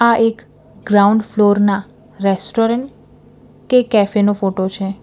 આ એક ground floor ના રેસ્ટોરન્ટ કે કેફે નો ફોટો છે.